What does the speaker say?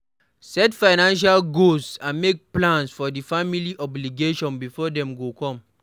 Set financial goals and make plans for di family obligations before dem go come